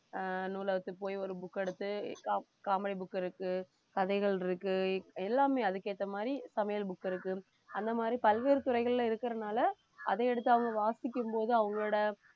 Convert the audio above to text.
ஆஹ் நூலகத்துக்கு போய் ஒரு book எடுத்து co~ comedy book இருக்கு கதைகள் இருக்கு எல்லாமே அதுக்கு ஏத்த மாதிரி சமையல் book இருக்கு அந்த மாதிரி பல்வேறு துறைகள்ல இருக்கிறதுனால அதை எடுத்து அவங்க வாசிக்கும்போது அவங்களோட